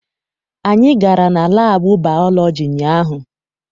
Anyị gara na laabụ baalọji ụnyaahụ.